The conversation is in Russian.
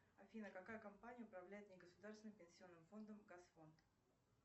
афина какая компания управляет негосударственным пенсионным фондом газфонд